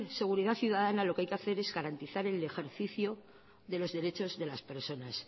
seguridad ciudadana lo que hay que hacer es garantizar el ejercicio de los derechos de las personas